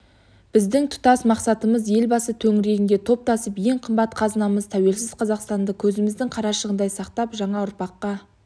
біздің тұтас мақсатымыз елбасы төңірегіне топтасып ең қымбат қазынамыз тәуелсіз қазақстанды көзіміздің қарашығындай сақтап жаңа ұрпаққа